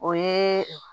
O ye